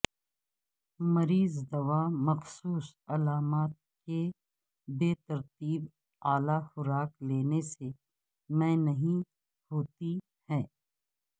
مریض دوا مخصوص علامات کی بے ترتیب اعلی خوراک لینے سے میں نہیں ہوتی ہے